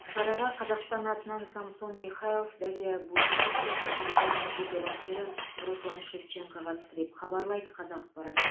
шараға қазақстан атынан самсон михайлов дарья буйчик пен самсонның жеке бапкері руслан шевченко қатысты деп хабарлайды қазақпарат